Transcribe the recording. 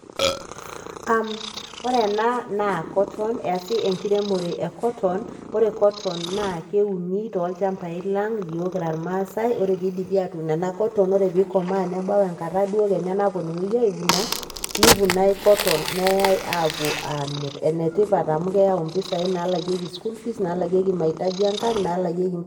Ore ena naa cotton. Easi enkiremore ee cotton. Ore cotton[c] naa keuni tolchambai lang' , iyiok kira irmasae, ore pidipi atun ena cotton ore pee ikomaa nebau enkata duo kenya napununui ai vuna neivunai cotton ayaa apuo amir. Enetipat amu kayau mpisai nalekekei school fees nalekekei mahitaji ee kang', nalakeki.